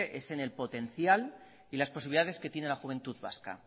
es en el potencial y las posibilidades que tiene la juventud vasca